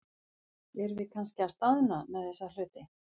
Erum við kannski að staðna með þessa hluti?